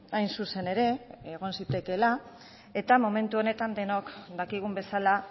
hain zuzen ere egon zitekeela eta momentu honetan denok dakigun bezala